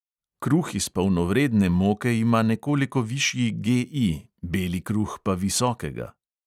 Kruh iz polnovredne moke ima nekoliko višji GI, beli kruh pa visokega.